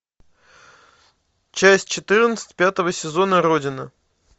часть четырнадцать пятого сезона родина